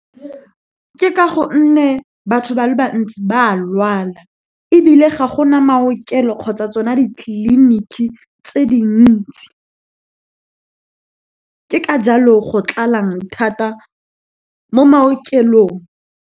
Ke ka gonne batho ba le bantsi ba a lwala, ebile ga gona maokelo kgotsa tsona ditleliniki tse dintsi. Ke ka jalo go tlalang thata mo maokelong.